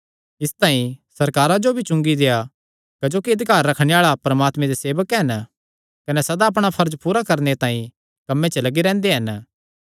इसतांई सरकारा जो चुंगी भी देआ क्जोकि अधिकार रखणे आल़े परमात्मे दे सेवक हन कने सदा अपणा फर्ज पूरा करणे तांई कम्मे च लग्गी रैंह्दे हन